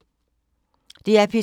DR P2